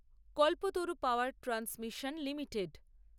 Kalpataru power transmission limited